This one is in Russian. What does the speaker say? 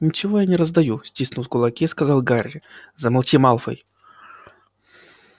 ничего я не раздаю стиснув кулаки сказал гарри замолчи малфой